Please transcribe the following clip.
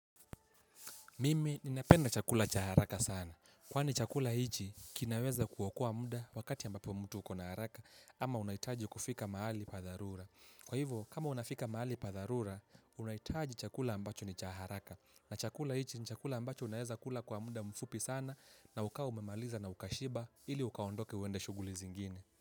Mimi, ninapenda chakula cha haraka sana. Kwani chakula hichi, kinaweza kuokoa muda wakati ambapo mtu uko na haraka ama unahitaji kufika mahali padharura. Kwa hivyo, kama unafika mahali padharura, unahitaji chakula ambacho ni cha haraka. Na chakula hichi ni chakula ambacho unaweza kula kwa muda mfupi sana na ukawa umemaliza na ukashiba ili ukaondoke uende shughuli zingine.